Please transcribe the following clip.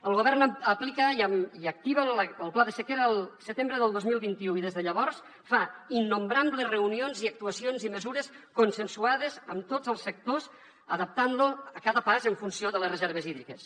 el govern aplica i activa el pla de sequera al setembre del dos mil vint u i des de llavors fa innombrables reunions i actuacions i mesures consensuades amb tots els sectors adaptant lo a cada pas en funció de les reserves hídriques